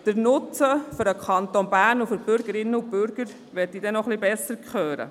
Den Nutzen für den Kanton Bern und die Bürgerinnen und Bürger möchte ich noch etwas besser hören.